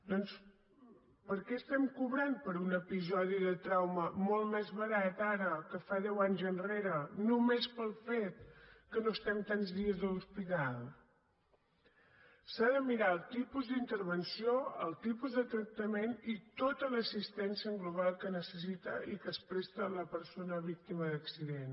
doncs per què estem cobrant per un episodi de trauma molt més barat ara que fa deu anys enrere només pel fet que no estem tants dies a l’hospital s’ha de mirar el tipus d’intervenció el tipus de tractament i tota l’assistència en global que necessita i que es presta a la persona víctima d’accident